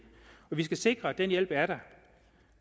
og vi skal sikre at den hjælp er der